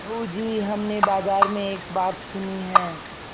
बहू जी हमने बाजार में एक बात सुनी है